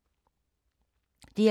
DR2